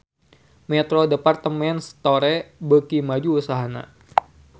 Metro Department Store beuki maju usahana